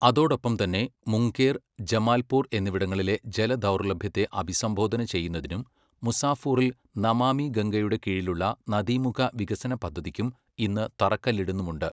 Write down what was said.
അതോടൊപ്പം തന്നെ മുംഗേർ, ജമാല്പൂർ എന്നിവിടങ്ങളിലെ ജലദൗർലഭ്യത്തെ അഭിസംബോധന ചെയ്യുന്നതിനും മുസാഫൂറിൽ നമാമി ഗംഗയുടെ കീഴിലുള്ള നദീമുഖ വികസന പദ്ധതിക്കും ഇന്ന് തറക്കല്ലിടുന്നുമുണ്ട്.